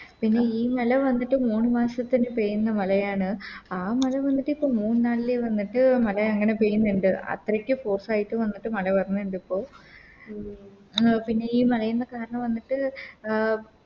പിന്നെ ഇ ഇന്നലെ വന്നിട്ട് മൂന്ന് മാസത്തില് പെയ്യുന്ന മളയാണ് ആ മല വന്നിട്ട് ഇപ്പൊ മൂന്ന് നാളിലെ വന്നിട്ട് മല അങ്ങനെ പെയ്യുന്ന്ണ്ട് അത്രക്ക് Force ആയിട്ട് വന്നിട്ട് മല വിരുന്നിണ്ട് ഇപ്പോൾ ഉം പിന്നെ ഈ മലയിന്ന് കാരണം വന്നിട്ട് അഹ്